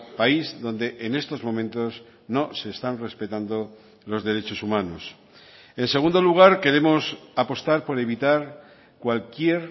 país donde en estos momentos no se están respetando los derechos humanos en segundo lugar queremos apostar por evitar cualquier